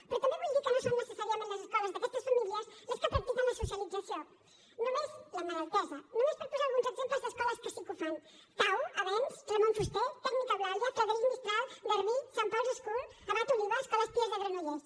però també vull dir que no són necessàriament les escoles d’aquestes famílies les que practiquen la socialització la mal entesa només per posar alguns exemples d’escoles que sí que ho fan thau avenç ramon fuster tècnic eulàlia frederic mistral garbí saint paul’s school abat oliba escola pia de granollers